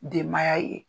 Denbaya ye